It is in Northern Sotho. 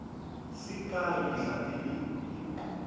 se kae le tla be